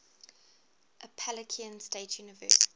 appalachian state university